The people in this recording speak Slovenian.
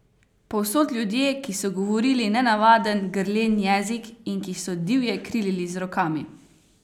Povsod ljudje, ki so govorili nenavaden, grlen jezik in ki so divje krilili z rokami!